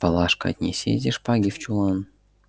палашка отнеси эти шпаги в чулан